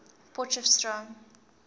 potchefstroom